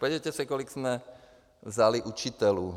Podívejte se, kolik jsme vzali učitelů.